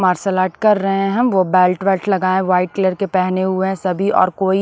martial art कर रहे हैं हम वो बेल्ट बेल्ट लगाए हैं वाइट कलर के पहने हुए हैं सभी और कोई--